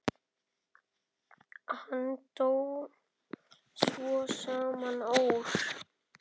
Hann dó svo sama ár.